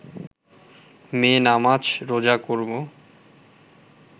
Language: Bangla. মেয়ে নামাজ রোজা করব